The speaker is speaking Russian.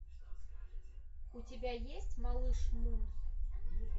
у тебя есть малыш мун